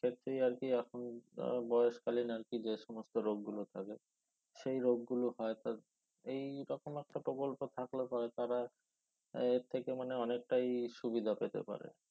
ক্ষেত্রেই আরকি এখন আহ বয়সকালীন আরকি যে সমস্ত রোগ গুলো থাকে সেই রোগ গুলো হয়তো এই রকম একটা প্রকল্প থাকলে পরে তারা এর থেকে মানে অনেকটাই সুবিধা পেতে পারে